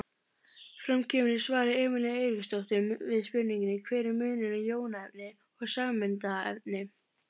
Fram kemur í svari Emelíu Eiríksdóttur við spurningunni Hver er munurinn á jónaefni og sameindaefni?